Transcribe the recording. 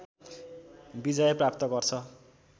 विजय प्राप्त गर्छ